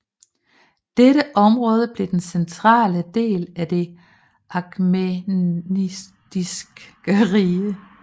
Dette område blev den centrale del af det Achæmenidiske rige